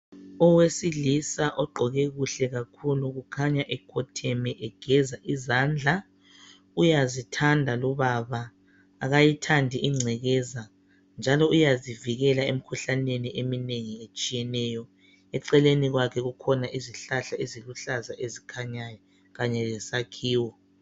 Owesilisa ogqoke kuhle kakhulu! Kukhanya ekhotheme, egeza izandla. Uyazithanda lubaba. Akayithandi ingcekeza, njalo uyazivikela emikhuhlaneni eminengi etshiyeneyo. Eceleni kwakhe kukhona izihlahla eziluhlaza ezikhanyayo, kanye lesakhiwo.